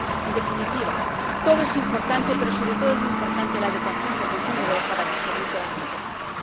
En definitiva, todo es importante, pero, sobre todo, es muy importante la educación del consumidor para digerir toda esta información.